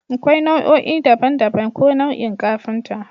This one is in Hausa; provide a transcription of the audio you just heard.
Akwai nau'o'i daban-daban ko nau'in kafinta